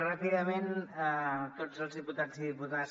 ràpidament a tots els diputats i diputades